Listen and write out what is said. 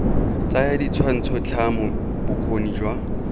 tsaya ditshwantsho tlhamo bokgoni jwa